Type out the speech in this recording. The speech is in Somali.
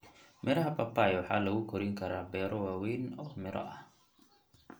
Miraha papai waxaa lagu korin karaa beero waaweyn oo miro ah.